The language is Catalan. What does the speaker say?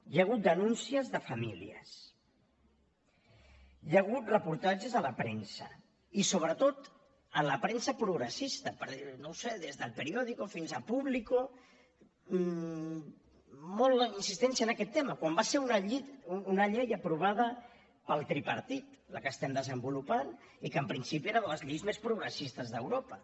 hi ha hagut denúncies de famílies hi ha hagut reportatges a la premsa i sobretot a la premsa progressista per no ho sé des d’el periódico fins a público molta insistència en aquest tema quan va ser una llei aprovada pel tripartit la que estem desenvolupant i que en principi era de les lleis més progressistes d’europa